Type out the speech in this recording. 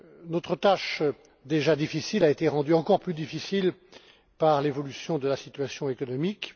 Notre tâche déjà difficile a été rendue encore plus difficile par l'évolution de la situation économique.